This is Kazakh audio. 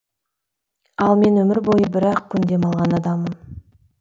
ал мен өмір бойы бір ақ күн демалған адаммын